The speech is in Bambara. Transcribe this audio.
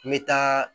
N bɛ taa